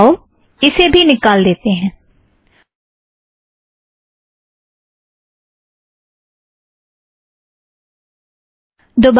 आओ इसे भी निकाल देते हैँ